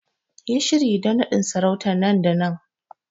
Yi shiri don nadin sarauta nan da nan!